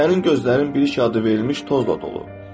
Sənin gözlərin bir işıq adı verilmiş tozla doludur.